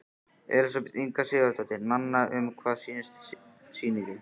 Elísabet Inga Sigurðardóttir: Nanna, um hvað snýst sýningin?